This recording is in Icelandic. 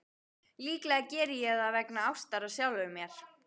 Líklega geri ég það vegna ástar á sjálfum mér.